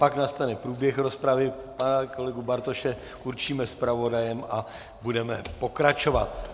Pak nastane průběh rozpravy, pana kolegu Bartoše určíme zpravodajem a budeme pokračovat.